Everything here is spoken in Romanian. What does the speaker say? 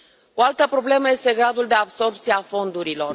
O altă problemă este gradul de absorbție a fondurilor.